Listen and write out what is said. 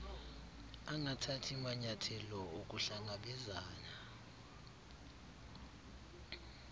angathathi manyayathelo okuhlangabezana